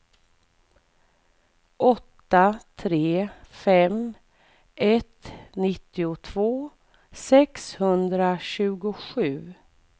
åtta tre fem ett nittiotvå sexhundratjugosju